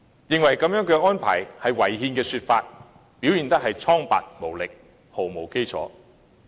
認為這樣的安排是違憲的說法，理據蒼白無力，毫無基礎。